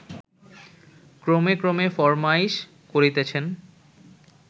ক্রমে ক্রমে ফরমাইশ করিতেছেন